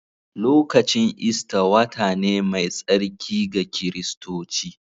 Lokacin Ista wata ne mai tsarki ga Kiristoci.